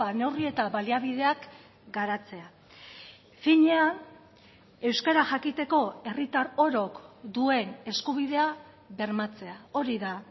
neurri eta baliabideak garatzea finean euskara jakiteko herritar orok duen eskubidea bermatzea hori da